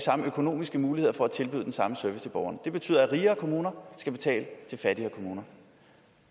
samme økonomiske muligheder for at tilbyde den samme service til borgerne det betyder at rigere kommuner skal betale til fattigere kommuner